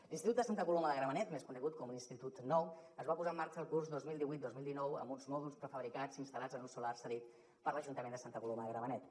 l’institut de santa coloma de gramenet més conegut com l’institut nou es va posar en marxa el curs dos mil divuit dos mil dinou amb uns mòduls prefabricats instal·lats en un solar cedit per l’ajuntament de santa coloma de gramenet